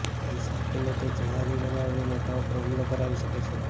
પૈસા આપીને તે જેહાદી બનાવીને નેતાઓ પર હુમલા કરાવી શકે છે